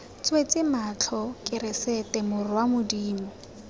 tswetse matlho keresete morwa modimo